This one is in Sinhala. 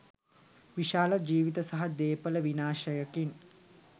විශාල ජීවිත සහ දේපල විනාශයකින්